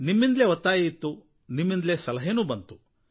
ನಿಮ್ಮಿಂದಲೇ ಒತ್ತಾಯ ಇತ್ತು ನಿಮ್ಮಿಂದಲೇ ಸಲಹೆ ಬಂದವು